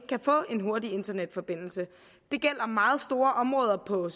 kan få en hurtig internetforbindelse det gælder meget store områder på